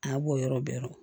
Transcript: A b'o yɔrɔ bɛɛ yɔrɔ